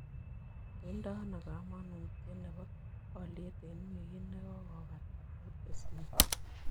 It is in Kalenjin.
Koitano kamanuutyet ne po olyet eng' wigit negogopata oo disney